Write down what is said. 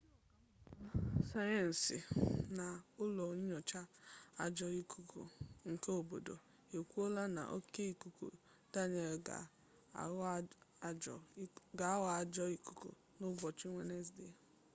ndị ọka mmụta sayensị na n'ụlọ nyocha ajọ ikuku nke obodo ekwuola na oke ikuku daniel ga aghọ ajọ ikuku na ụbọchị wenezde